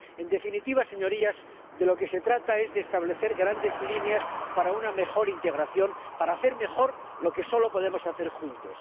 En definitiva, señorías, de lo que se trata es de establecer grandes líneas para una mejor integración, para hacer mejor lo que solo podemos hacer juntos.